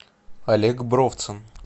олег бровцин